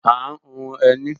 À ń hun ẹní